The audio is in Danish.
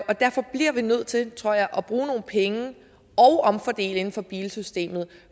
og derfor bliver vi nødt til tror jeg at bruge nogle penge og omfordele inden for bilsystemet